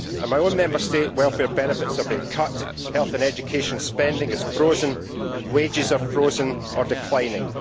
In my own Member State, welfare benefits are being cut, health and education spending is frozen and wages are frozen or declining.